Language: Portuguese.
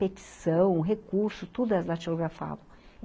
Petição, recurso, tudo era datilografado.